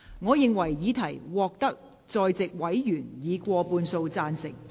我認為議題獲得在席委員以過半數贊成。